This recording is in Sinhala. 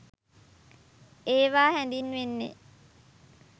ඒවා හැඳින්වෙන්නේ